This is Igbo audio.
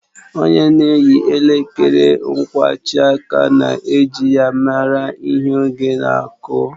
Ònye na-eyi elekere nkwajiaka na-eji ya mara ihe oge na-aku